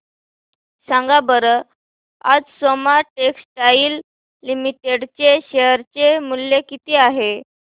सांगा बरं आज सोमा टेक्सटाइल लिमिटेड चे शेअर चे मूल्य किती आहे